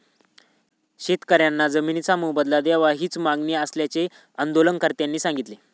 शेतकऱयांना जमिनीचा मोबदला द्यावा हीच मागणी असल्याचे आंदोलनकर्त्यांनी सांगितले.